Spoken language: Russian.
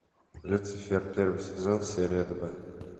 люцифер первый сезон серия два